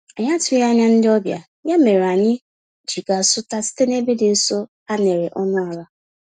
Anyị atụghị anya ndị ọbịa, ya mèrè anyị ji gaa zụta site n'ebe dị nso, a néré ọnụ àlà